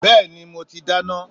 Bẹ́ẹ̀ni mo ti dáná.